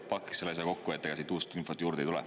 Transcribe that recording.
Pakiks selle asja kokku, ega siit uut infot juurde ei tule.